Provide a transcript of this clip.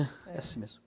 É assim mesmo.